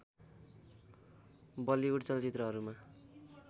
Bollywood चलचित्रहरूमा